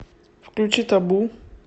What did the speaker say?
включи табу